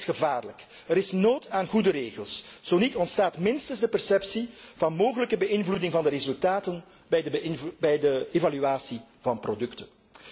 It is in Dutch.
En dat is gevaarlijk. Er is nood aan goede regels, zo niet ontstaat minstens de perceptie van mogelijke beïnvloeding van de resultaten bij de evaluatie van producten.